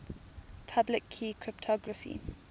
public key cryptography